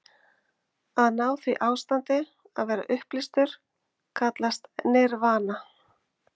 Að ná því ástandi, að vera upplýstur, kallast nirvana.